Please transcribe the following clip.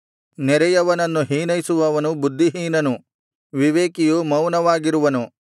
ನೆರೆಯವನನ್ನು ಹೀನೈಸುವವನು ಬುದ್ಧಿಹೀನನು ವಿವೇಕಿಯು ಮೌನವಾಗಿರುವನು